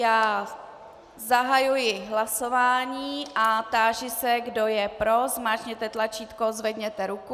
Já zahajuji hlasování a táži se, kdo je pro, zmáčkněte tlačítko, zvedněte ruku.